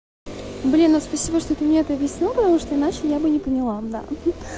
блин ну спасибо что ты мне это объяснил потому что иначе я бы не поняла мдаа